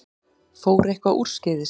Fór eitthvað úrskeiðis?